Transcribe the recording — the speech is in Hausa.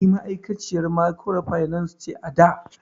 Ni ma'aikaciyan mikrofinance ce ada